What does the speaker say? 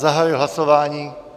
Zahajuji hlasování.